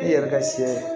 I yɛrɛ ka sɛ